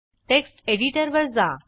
text एडिटरवर जा